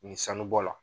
Ni sanu bɔ la